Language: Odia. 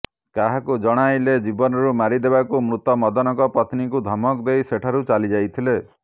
କାହାକୁ ଜଣାଇଲେ ଜୀବନରୁ ମାରିଦେବାକୁ ମୃତ ମଦନଙ୍କ ପତ୍ନୀଙ୍କୁ ଧମକ ଦେଇ ସେଠାରୁ ଚାଲିଯାଇଥିଲେ